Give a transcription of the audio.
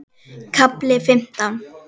KAFLI FIMMTÁN